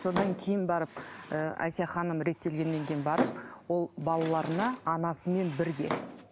содан кейін барып ы әсия ханым реттелгеннен кейін барып ол балаларына анасымен бірге